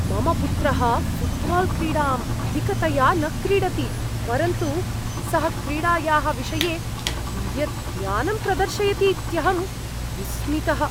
मम पुत्रः ऴुट्बाल्क्रीडाम् अधिकतया न क्रीडति, परन्तु सः क्रीडायाः विषये कियत् ज्ञानं प्रदर्शयतीत्यहं विस्मितः।